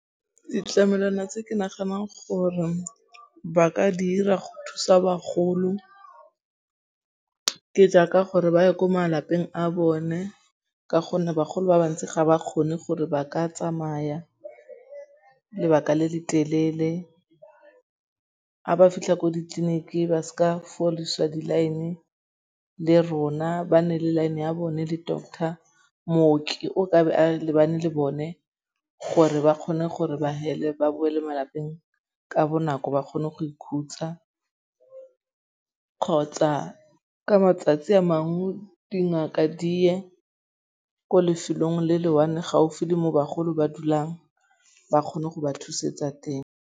Ditlamelwana tse ke naganang gore ba ka dira go thusa bagolo ke jaaka gore ba ye ko malapeng a bone ka gonne bagolo ba ba ntsi ga ba kgone gore ba ka tsamaya lebaka le le telele. Ga ba fitlha ko ditleliniking ba seka fodiswa di-line le rona ba nne le line ya bone le doctor, mmoki o ka be a lebane le bone gore ba kgone gore ba hele ba boele malapeng ka bonako ba kgone go ikhutsa kgotsa ka matsatsi a mangwe dingaka di ye ko lefelong le le one gaufi le mo bagolong ba dulang ba kgone go ba thusetsa teng.